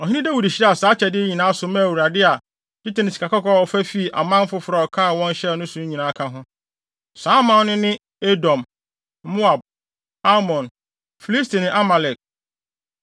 Ɔhene Dawid hyiraa saa akyɛde yi nyinaa so maa Awurade, a dwetɛ ne sikakɔkɔɔ a ɔfa fii aman foforo a ɔkaa wɔn hyɛe no so no nyinaa ka ho. Saa aman no ne Edom, Moab, Amon, Filisti ne Amalek.